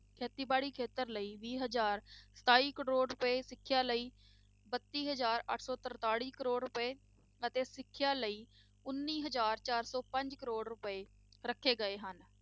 ਖੇਤੀਬਾੜੀ ਖੇਤਰ ਲਈ ਵੀਹ ਹਜ਼ਾਰ ਸਤਾਈ ਕਰੌੜ ਰੁਪਏ ਸਿੱਖਿਆ ਲਈ ਬੱਤੀ ਹਜ਼ਾਰ ਅੱਠ ਸੌ ਤਰਤਾਲੀ ਕਰੌੜ ਰੁਪਏ ਅਤੇ ਸਿੱਖਿਆ ਲਈ ਉੱਨੀ ਹਜ਼ਾਰ ਚਾਰ ਸੌ ਪੰਜ ਕਰੌੜ ਰੁਪਏ ਰੱਖੇ ਗਏ ਹਨ।